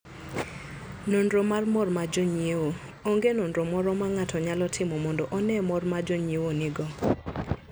Nonro mar Mor mar Jonyiewo: Onge nonro moromo ma ng'ato nyalo timo mondo one mor ma jonyiewo nigo.